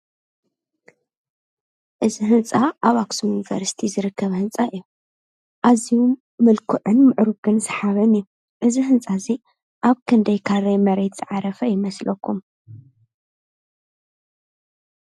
እዙይ ህንፃ ኣብ ኣክሱም ዩኒቨርሲቲ ዝርከብ ህንፃ እዩ። ኣዝዩ ምልኩዕን ምዕርጉን ስሓብን እዩ። እዙይ ህንፃ እዙይ ኣብ ክንደይ ካሬ መሬት ዝዓረፈ ይመስለኩም?